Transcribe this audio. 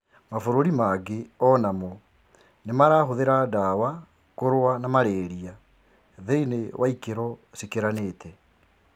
Mabũrũri mangĩ onamo nimarahuthira dawa kũrũwa na malaria thiinie wa ikero cikiranite